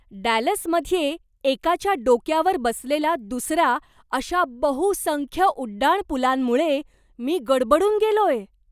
डॅलसमध्ये एकाच्या डोक्यावर बसलेला दुसरा अशा बहुसंख्य उड्डाणपूलांमुळे मी गडबडून गेलोय.